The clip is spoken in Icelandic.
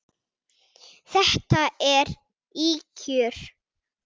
Þetta eru ýkjur!